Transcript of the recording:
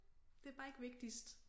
Det bare ikke vigtigst